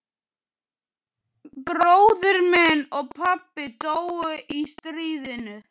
Bróðir minn og pabbi dóu í stríðinu.